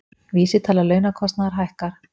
Vísitala launakostnaðar hækkar